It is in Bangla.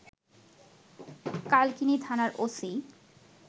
কালকিনি থানার ওসি